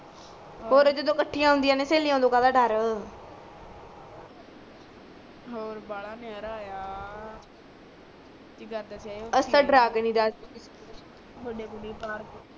ਖ਼ੋਰੇ ਜਦੋਂ ਕਠੀਆਂ ਹੁੰਦੀ ਆ ਸਹੇਲੀਆਂ ਓਦਾਂ ਕਾਦਾ ਡਰ ਔਰ ਬਾਲਾ ਨਯਾਰਾ ਆ ਅਸੀ ਤਾ